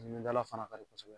dala fana ka